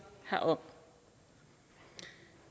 herom